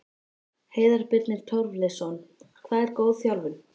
Heiðar Birnir Torleifsson Hvað er góð þjálfun?